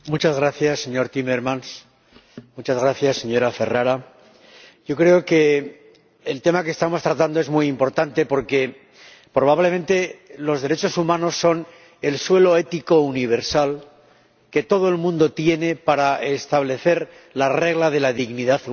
Señora Presidente, muchas gracias, señor Timmermans, muchas gracias, señora Ferrara, creo que el tema que estamos tratando es muy importante porque, probablemente, los derechos humanos son el suelo ético universal que todo el mundo tiene para establecer la regla de la dignidad humana.